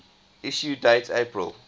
issue date april